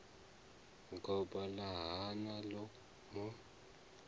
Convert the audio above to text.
goba ḽa hana ḽo mu